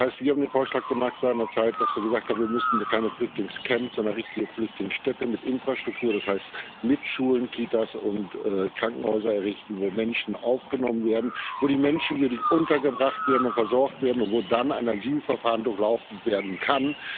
Das heißt, wir haben seinerzeit den Vorschlag gemacht, dass wir gesagt haben, wir müssen keine Flüchtlingscamps, sondern richtige Flüchtlingsstädte mit Infrastruktur das heißt mit Schulen, Kitas und Krankenhäusern errichten, wo Menschen aufgenommen werden, wo die Menschen würdig untergebracht werden und versorgt werden, und wo dann ein Asylverfahren durchlaufen werden kann.